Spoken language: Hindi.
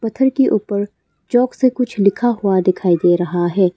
पत्थर के ऊपर चाक से कुछ लिखा हुआ दिखाई दे रहा है।